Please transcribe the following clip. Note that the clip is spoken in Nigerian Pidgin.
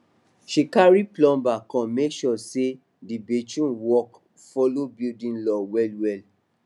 she carry plumber come make sure say di bathroom work follow building law wellwell